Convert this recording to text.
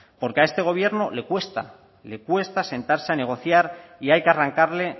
porque a este gobierno le cuesta sentarse a negociar y hay que arrancarle